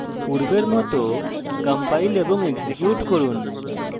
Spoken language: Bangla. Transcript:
পূর্বের মত compile এবং execute করুন